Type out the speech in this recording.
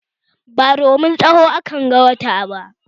Ba domin tsawo akanga wata ba